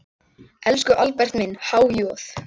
Elsku Albert minn, há joð.